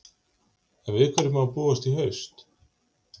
En við hverju má búast í haust?